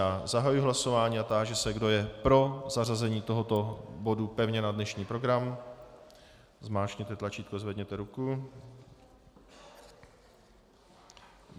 Já zahajuji hlasování a táži se, kdo je pro zařazení tohoto bodu pevně na dnešní program, zmáčkněte tlačítko, zvedněte ruku.